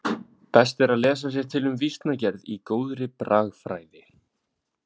Best er að lesa sér til um vísnagerð í góðri bragfræði.